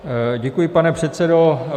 Děkuji, pane předsedo.